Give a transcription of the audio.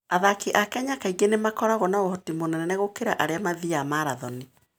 Athaki a Kenya kaingĩ nĩ makoragwo na ũhoti mũnene gũkĩra arĩa marathiaga marathoni.